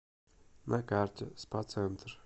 на карте спа центр